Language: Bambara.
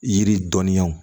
Yiri dɔnniyaw